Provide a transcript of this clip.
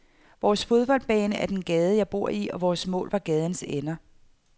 Vores fodboldbane var den gade, jeg boede i, og vore mål var gadens ender.